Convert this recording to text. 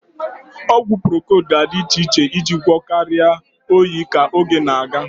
Ọgwụ procold ga-adị iche iche iji gwọọ karịa oyi ka oge na-aga.